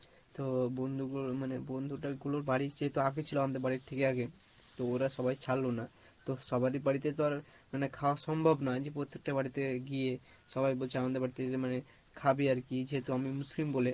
তো বন্ধু মানে বন্ধুটা গুলোর বাড়ি যেহেতু আগে ছিলো আমাদের বাড়ির থেকে আগে তো ওরা সবাই ছাড়লো না তো সবারিই বাড়িতে তো আর মানে খাওয়া সম্ভব নয়, যে প্রত্যেকটা বাড়িতে গিয়ে সবাই বলছে আমাদের বাড়িতে মানে খাবি আরকী যেহেতু আমি মুসলিম বলে